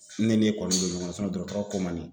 Ne n'e kɔni bɛ ɲɔgɔn na dɔrɔtɔrɔ ko n ma nin